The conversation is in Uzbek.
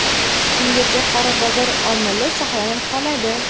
Shungacha qora bozor omili saqlanib qoladi.